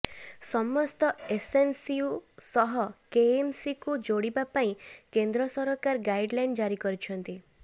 ସମସ୍ତ ଏସ୍ଏନ୍ସିୟୁ ସହ କେଏମ୍ସିକୁ ଯୋଡ଼ିବା ପାଇଁ କେନ୍ଦ୍ର ସରକାର ଗାଇଡ୍ଲାଇନ୍ ଜାରି କରିଛନ୍ତି